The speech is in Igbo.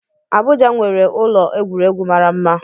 Abuja nwere ụlọ egwuregwu mara mma